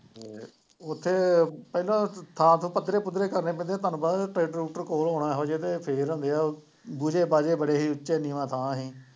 ਉੱਥੇ ਪਹਿਲਾਂ ਸਾਫ ਪੱਧਰੇ ਪੁੱਧਰੇ ਕਰਨੇ ਪੈਂਦੇ ਹੈ ਤੁਹਾਨੂੰ ਪਤਾ ਟਰੈਕਟਰ ਟਰੂਕਟਰ ਕੋਲ ਹੋਣਾ ਇਹੋ ਜਿਹੇ ਦੇ, ਫੇਰ ਹੁੰਦੇ ਹੈ, ਬੂਝੈ ਬਾਝੇ ਬੜੇ ਸੀ, ਉੱਚਾ ਨੀਂਵਾਂ ਥਾਂ ਸੀ,